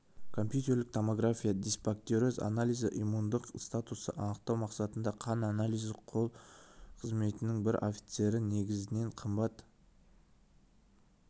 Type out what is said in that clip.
компьютерлік томография дисбактериоз анализі иммундық статусты анықтау мақсатындағы қан анализі жол-күзет қызметінің бір офицері негізінен қымбат